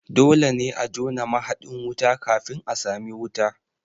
Dole ne a jona mahaɗin wuta kafin a sami wuta